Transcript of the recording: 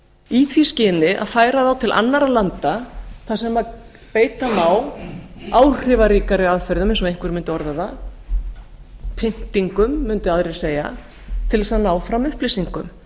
í því skyni að færa þá til annarra landa þar sem beita má áhrifaríkari aðferðum eins og einhver mundi orða það pyntingum mundu aðrir segja til þess að ná fram upplýsingum